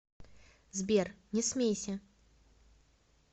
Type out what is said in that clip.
сбер не смейся